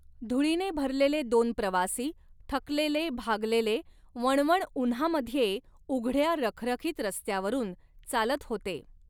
धुळीने भरलेले दोन प्रवासी, थकलेले, भागलेले, वणवण उन्हामध्ये उघडया रखरखीत रस्त्यावरून चालत होते.